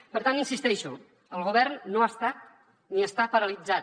per tant hi insisteixo el govern no ha estat ni està paralitzat